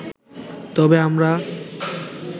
তবে আমরা